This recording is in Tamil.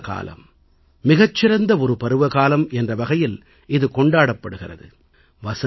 வசந்தகாலம் மிகச்சிறந்த ஒரு பருவகாலம் என்ற வகையில் இது கொண்டாடப்படுகிறது